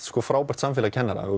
frábær samfélag kennara